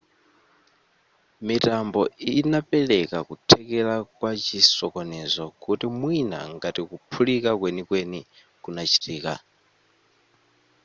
mitambo inapereka kuthekera kwa chisokonezo kuti mwina ngati kuphulika kwenikweni kunachitika